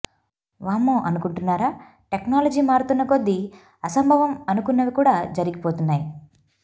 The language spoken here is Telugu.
వామ్మో అనుకుంటున్నారా టెక్నాలజీ మారుతున్న కొద్దీ అసంభవం అనుకున్నవి కూడా జరిగిపోతున్నాయి